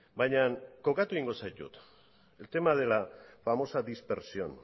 baina kokatu egingo zaitut el tema de la famosa dispersión